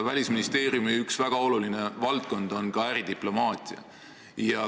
Välisministeeriumi üks väga oluline valdkond on ka äridiplomaatia.